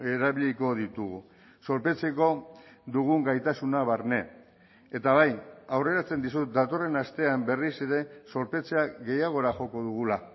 erabiliko ditugu zorpetzeko dugun gaitasuna barne eta bai aurreratzen dizut datorren astean berriz ere zorpetzea gehiagora joko dugula